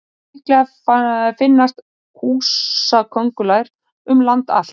Líklega finnast húsaköngulær um land allt.